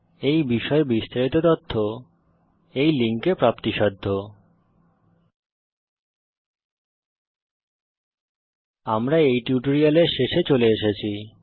এই বিষয়ে বিস্তারিত তথ্য এই লিঙ্কে প্রাপ্তিসাধ্য httpspoken tutorialorgNMEICT Intro আমরা এই টিউটোরিয়ালের শেষে চলে এসেছি